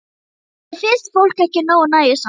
Mér finnst fólk ekki nógu nægjusamt.